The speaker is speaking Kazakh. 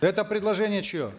это предложение чье